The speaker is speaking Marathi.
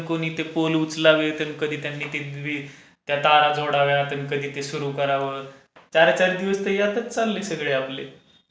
आणि कोणी ते पोल उचलावे? आम्ही ते वीज तर कधी त्यांनी ते विजेच्या तारा जोडाव्यात, कधी ते सुरू करावं? चार चार दिवस तर यातच चालले सगळे आपले.